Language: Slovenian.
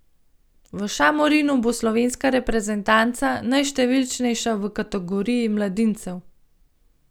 V Šamorinu bo slovenska reprezentanca najštevilčnejša v kategoriji mladincev.